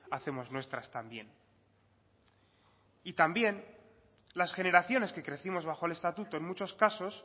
hacemos nuestras también y también las generaciones que crecimos bajo el estatuto en muchos casos